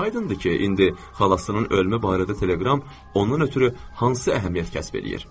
Aydındır ki, indi xalasının ölmə barədə teleqram ondan ötrü hansı əhəmiyyət kəsb eləyir.